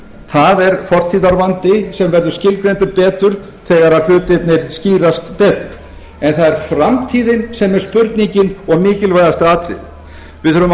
það er fortíðarvandi sem verður skilgreindur betur þegar hlutirnir skýrast betur en það er framtíðin sem er spurningin og mikilvægasta atriðið við þurfum að